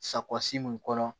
Sawa si min kɔnɔ